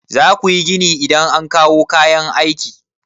Za ku yi gini idan an kawo kayan aiki.